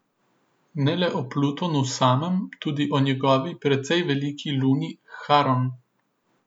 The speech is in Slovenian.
Ne le o Plutonu samem, tudi o njegovi precej veliki luni Haron.